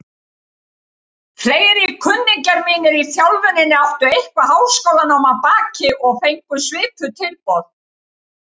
Fleiri kunningjar mínir í þjálfuninni áttu eitthvert háskólanám að baki og fengu svipuð tilboð.